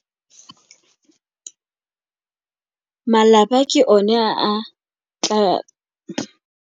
Malapa ke one a tla.